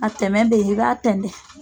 A tɛmɛn be ye, i b'a tɛndɛ.